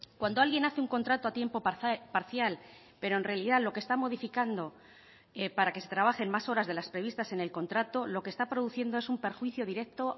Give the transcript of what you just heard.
cuando alguien hace un contrato a tiempo parcial pero en realidad lo que está modificando para que se trabajen más horas de las previstas en el contrato lo que está produciendo es un perjuicio directo